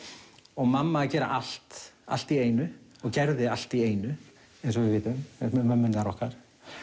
og mamma að gera allt allt í einu og gerði allt í einu eins og við vitum með mömmurnar okkar